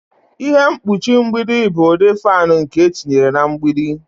Ihe mkpuchi mgbidi bụ ụdị fan nke etinyere na mgbidi.